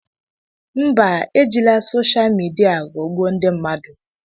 mba, ejila sosha midia ghọgbuo ndị mmadụ